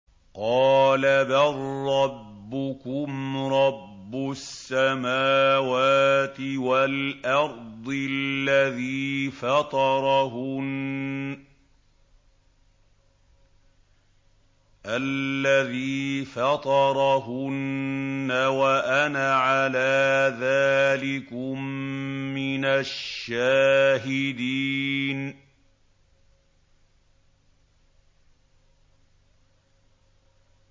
قَالَ بَل رَّبُّكُمْ رَبُّ السَّمَاوَاتِ وَالْأَرْضِ الَّذِي فَطَرَهُنَّ وَأَنَا عَلَىٰ ذَٰلِكُم مِّنَ الشَّاهِدِينَ